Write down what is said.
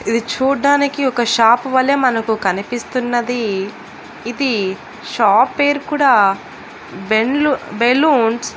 ఇది చూడ్డానికి ఒక షాప్ వల్లే మనకు కనిపిస్తున్నది ఇది షాప్ పేరు కూడా బెల్లున్ బెలూన్స్ .